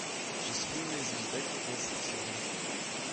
счастливая звезда пятнадцатый сезон